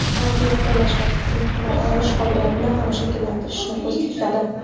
balki fikrlash va tahlil qila olish qobiliyatini ham shakllantirishni ko‘zda tutadi.